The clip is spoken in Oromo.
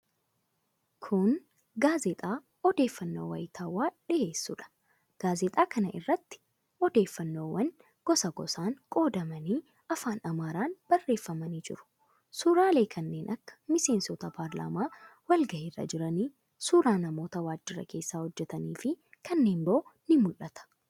Kun gaazexaa odeeffannoo waayitaawaa dhiheessuudha. Gaazexaa kana irratti odeeffannoowwan gosa gosaan qoodamanii afaan Amaaraan barreeffamanii jiru. Suuraalee kanneen akka miseensota paarlaamaa walgahii irra jiranii, suuraa namoota waajjira keessaa hojjetaniifi kanneen biroo ni mul'ata.